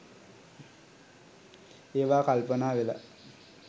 ඒවා කල්පනා වෙලා